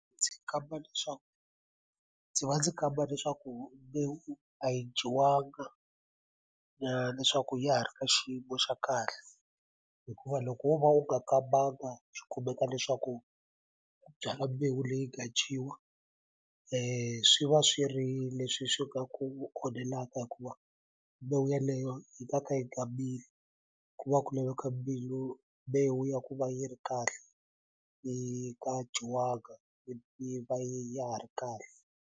Ndzi kamba leswaku ndzi va ndzi kamba leswaku mbewu a yi dyiwanga leswaku ya ha ri ka xiyimo xa kahle hikuva loko wo va u nga kambanga swi kumeka leswaku u byala mbewu leyi nga dyiwa swi va swi ri leswi swi nga ku onhelaka hikuva mbewu yaleyo yi nga ka yi nga mili ku va ku laveka mbewu ya ku va yi ri kahle yi nga dyiwanga yi yi va yi ya ha ri kahle.